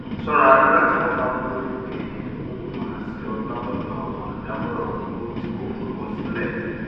ṣọra nígbà tí wọn bá mú ìpè idokoowo wá sí ọ látọdọ àwọn olùdámọràn owó tí kò forúkọ sílẹ